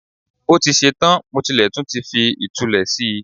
Ó ti ṣe tán, mo tilẹ̀ tún ti fi ìtulẹ̀ si